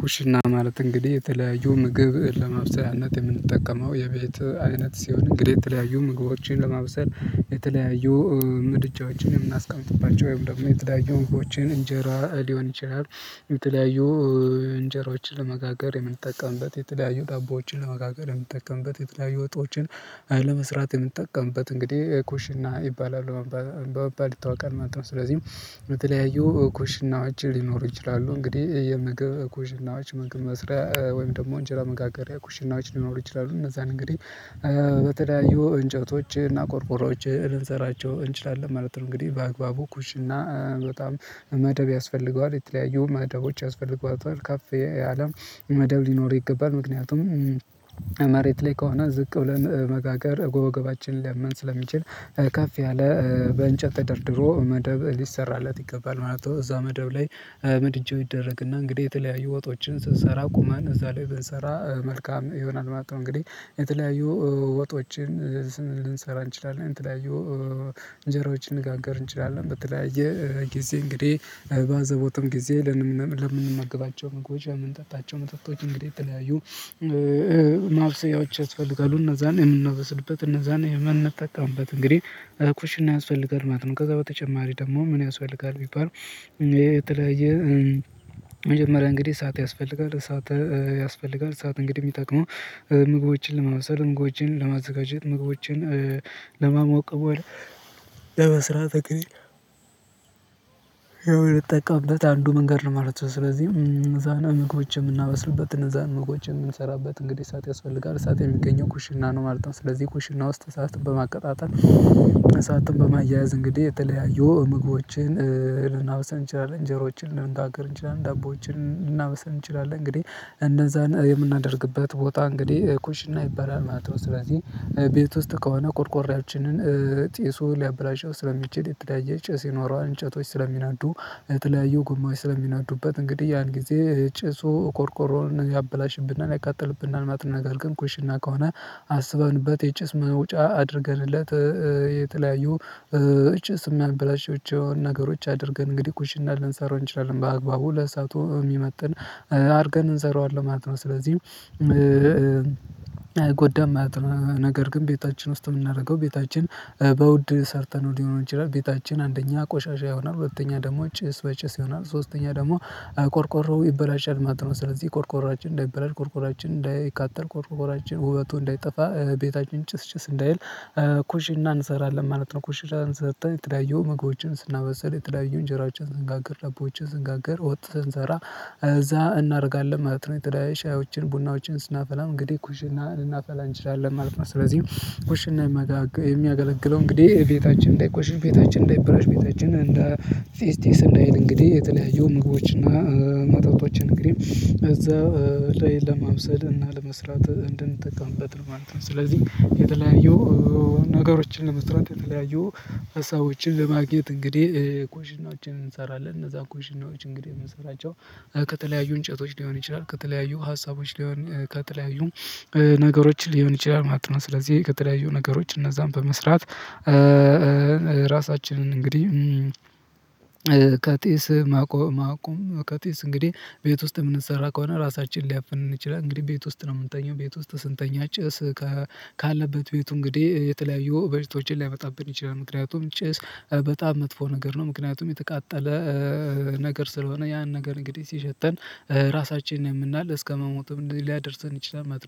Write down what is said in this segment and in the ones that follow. ኩሽና ማለት እንግዲህ የተለያዩ ምግብ ለማብሰልያነት የምንጠቀመው የቤት አይነት ሲሆን እንግዲህ የተለያዩ ምግቦችን ለማብሰል የተለያዩ ምድጃዎችን የምናስቀምጥባቸው ወይም ደግሞ የተለያዩ ምግቦችን እንጀራ ሊሆን ይችላል የተለያዩ እንጀራዎችን ለመጋገር የምንጠቀምበት የተለያዩ ዳቦዎችን ለመጋገር የምንጠቀምበት የተለያዩ የወጦችን መስራት የምንጠቀምበት እንግዲህ ኩሽና ይባላል በመባል ይታወቃል ማለት ነው። ስለዚህ በተለያዩ ኩሽናዎች ሊኖሩ ይችላሉ እንግዲህ የምግብ ኩሽናዎች ምግብ መስሪያ ወይም ደግሞ እንጀራ መጋገሪያ ኩሽናዎች ሊኖሩ ይችላሉ እነዛን እንግዲህ በተለያዩ እንጨቶችህና ቆርቆሮዎችህ ልንሰራቸው እንችላለን ማለት ነው። እንግዲህ በአግባቡ ኩሽና በጣም መደብ ያስፈልገዋል የተለያዩ መደቦች ያስፈልገዋል ካፌ አለም መደብ ሊኖር ይገባል ምክንያቱም መሬት ላይ ከሆነ ዝቅ ብለን መጋገር ጎበጎባችንን ሊያመን ስለሚችል ከፍ ያለ በእንጨት ተደርድሮ መደብ ሊሰራለት ይገባል ማለት ነው። እዛ መደብ ላይ ምድጃው ይደረግና እንግዲህ የተለያዩ ወጦችን ስትሰራ ቁመን እዛ ላይ ብንሰራ መልካም ይሆናል ማለት ነው። እንግዲህ የተለያዩ ወጦችን ልንሰራ እንችላለን የተለያዩ እንጀራዎችን ልንጋግር እንችላለን ብትለያየ ጊዜ እንግዲህ ባዘቦትም ጊዜ ለምንመገባቸው መግባቸው ለምመጠጣቸው መጠጦች እንግዲህ የተለያዩ ማብሰያዎች ያስፈልጋሉ እነዛን የምናበስልበት እነዛን የመን እንደታቀምበት እንግዲህ ኩሽን ያስፈልጋል ማለት ነው። ከዛ በተጨማሪ ደግሞ ምን ያስፈልጋል ቢባል የተለያየ መጀመሪያ እንግዲህ እሳት ያስፈልጋል እሳት ያስፈልጋል እሳት እንግዲህ የሚጠቅመው ምግቦችን ለማብሰል ምግቦችን ለማዘጋጀት ምግቦችን ለማሞቅ በኋላ ለመስራት እንግዲህ የምንጠቀምበት አንዱ መንገድ ነው ማለት ነው። ስለዚህ ምግቦች የምናበስልበትን እነዛን ምግቦች የምንሰራበት እንግዲህ እሳት ያስፈልጋል እሳት የሚገኘው ኩሽና ነው ማለት ነው። ስለዚህ ኩሽና ውስጥ እሳት በማቀጣጠል እሳትን በማያያዝ እንግዲህ የተለያዩ ምግቦችን ልናበስል እንችላለን እንጀሮዎችን ልናገር እንችላለን ደቦዎችን ልናበሰን እንችላለን እንግዲህ እንደዛ የምናደርግበት ቦታ እንግዲህ ኩሽና ይባላል ማለት ነው። ስለዚህ ቤት ውስጥ ከሆነ ቁርቁሬያችንን ጢሱ ሊያበላሸው ስለሚችል የተዳየ ጭስ ይኖረዋል እንጨቶች ስለሚናዱ የተለያዩ ጉማሽ ስለሚናዱበት እንግዲህ ያን ጊዜ ጭሱ ኮርኮሮን አበላሽብናል ያቃጥልብናል ማለት ነው። ነገር ግን ኩሽና ከሆነ አስበንበት የጭስ መውጫ አድርገንለት የተለያዩ ጭስ የሚያበላሽው ነገሮች አድርገን እንግዲህ ቁሽና ልንሰራው እንችላለን በአግባቡ ለሰአቱ የሚመጥን አድርገን እንሰራዋለን ማለት ነው። ስለዚህ ጎዳም ማለት ነው ነገር ግን ቤታችን ውስጥ የምናደርገው ቤታችን በውድ ሰርተነው ሊሆን ይችላል ቤታችን አንደኛ ቆሻሻ የሆነ ሁለተኛ ደግሞ ጭስ በጭስ ይሆናል ሶስተኛ ደግሞ ቆርቆሮ ይበላሻል ማለት ነው። ስለዚህ ቆርቆሮአችን እንዳይበላሽ ቆርቆሮአችን እንዳይቃጠል ቆርቆራችን ውበቱ እንዳይጠፋ ቤታችን ጭስጭስ እንዳይል ኩሽና እንሰራለን ማለት ነው። ኩሽና እንሰርተን የተዳየውን ምግቦችን ስናበሰል የተለያዩ እንጀራዎችን ዝንጋግር ለቦችን ዝንጋግር ወጥተን እንሰራ እዛ እናደርጋለን ማለት ነው። የተለያዩ ቡናዎችን ስናፈላም እንግዲህ እንናፈላ እንችላለን ማለት ነው ስለዚህ እኔ የሚያገለግለው እንግዲህ ቤታችን እንዳይቆሽሽ ቤታችን እንዳይብላሽ ቤታችን እንዳይጢስ ጢስ እንዳይል እንግዲህ የተለያዩ ምግቦች እና መጠጦችን እንግዲህ እዛ ላይ ለማውሰድ እና ለመስራት እንድንጠቀምበት ነው ማለት ነው። ስለዚህ የተለያዩ ነገሮችን ለመስራት የተለያዩ ሀሳቦችን ለማግኘት እንግዲህ ኩሽናዎችን እንሰራለን እነዛ ኩሽናዎች እንግዲህ የምንሰራቸው ከተለያዩ እንጨቶች ሊሆን ይችላል ከተለያዩ ሀሳቦች ሊሆን ከተለያዩ ነገሮችን ሊሆን ይችላል ማለት ነው። ስለዚህ ከተለያዩ ነገሮች እነዛን በመስራት ራሳችንን እንግዲህ ጢስ ማቆም ከጢስ እንግዲህ ቤት ውስጥ የምንሰራ ከሆነ ራሳችንን ሊያፍነን ይችላል እንግዲህ ቤት ውስጥ ነው የምንተኘው ቤት ውስጥ ስንተኛ ጭስ ካለበት ቤቱ እንግዲህ የተለያዩ በሽቶችን ሊያመጣብን ይችላል ምክንያቱም ጭስ በጣም መጥፎ ነገር ነው። ምክንያቱም የተቃጠለ ነገር ስለሆነ ያን ነገር እንግዲህ ሲሸተን ራሳችንን ያመናል እስከመሞትም እንደዚህ ሊያደርሰን ይችላል። መጥቶ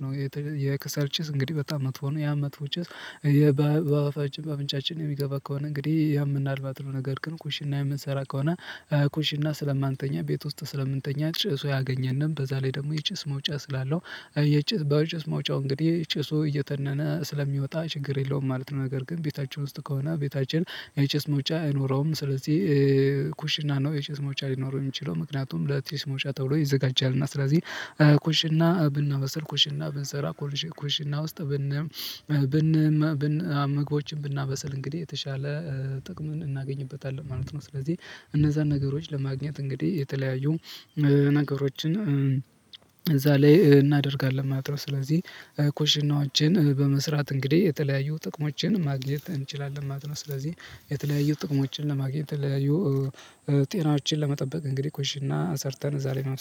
የክሰል ጭስ እንግዲህ በጣም መጥፎ ነው። ያ መጥፎ ጭስ በባፋችን ባፍንጫችን የሚገባ ከሆነ እንግዲህ ያምናልባት ነው ነገር ግን ኩሽና የምንሰራ ከሆነ ኩንሽና ስለማንተኛ ቤት ውስጥ ስለምንተኛ ጭርሶ ያገኘንም በዛ ላይ ደግሞ የጭስ መውጫ ስላለው የጭስ በጭስ መውጫው እንግዲህ ጭሱ እየተነነ ስለሚወጣ ችግር የለውም ማለት ነው። ነገር ግን ቤታችን ውስጥ ከሆነ ቤታችን የቼስ መውጫ አይኖረውም ስለዚህ ኩሽና ነው የጭስ መውጫ ሊኖረው የሚችለው ምክንያቱም ለጢሲ መውጫ ተብሎ ይዘጋጃል እና ስለዚህ ኩሽና ብና በስል ኮሽና ብንሰራ ኩሽና ኩሽና ውስጥ ብን ምግቦችን ብናበስል እንግዲህ የተሻለ ጥቅም እናገኝበታለን ማለት ነው። ስለዚህ እነዛን ነገሮች ለማግኘት እንግዲህ የተለያዩ ነገሮችን እዛ ላይ እናደርጋለን ማለት ነው። ስለዚህ ኩሽናዎችን በመስራት እንግዲህ የተለያዩ ጥቅሞችን ማግኘት እንችላለን ማለት ነው። ስለዚህ የተለያዩ ጥቅሞችን ለማግኘት የተለያዩ ጤናዎችን ለመጠበቅ እንግዲህ ኩሽና ሰርተን እዛ ላይ